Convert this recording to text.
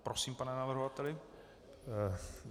Prosím, pane navrhovateli.